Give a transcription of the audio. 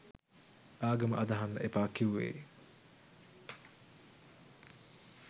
ආගම අදහන්න එපා කිවුවෙ